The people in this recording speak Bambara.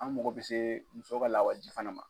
An makɔ bɛ se muso ka lawa ji fana ma.